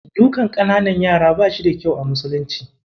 Dukan ƙananan yara ba shi da kyau a musulunci.